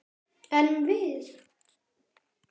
En við!